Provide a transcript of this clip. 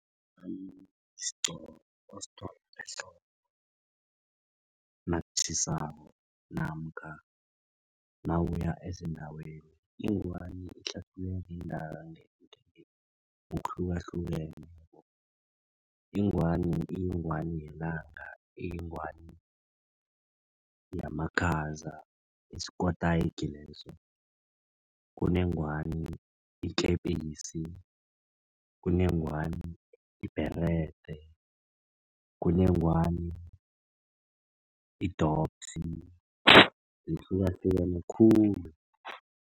Isigqoko osithwala ehloko nakutjhisako namkha nawuya ezindaweni ingwani ngokuhlukahlukeneko ingwani iyingwani yelanga iyingwani yamakhaza isikotayiki leso, kunengwani ikepisi, kunengwani ibherede, kunengwani idopsi zihlukahlukene khulu.